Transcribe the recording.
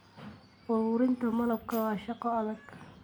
Ururinta malabka waa shaqo adag.